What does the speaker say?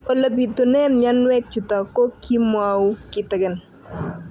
Ole pitune mionwek chutok ko kimwau kitig'�n